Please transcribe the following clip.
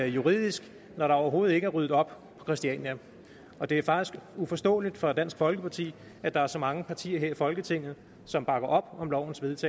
juridisk når der overhovedet ikke er ryddet op på christiania og det er faktisk uforståeligt for dansk folkeparti at der er så mange partier her i folketinget som bakker op om lovforslagets